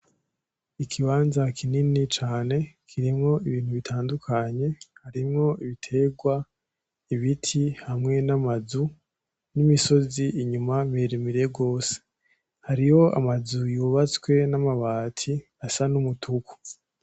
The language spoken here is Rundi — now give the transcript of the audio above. Ikibanza kinini cane kirimwo ibintu bitandukanye harimwo ibiterwa ibiti hamwe n'amazu, n'imisozi inyuma miremire gose. Hariho amazu yubatswe n'amabati asa n'umutuku.